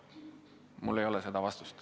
Mul ei ole seda vastust.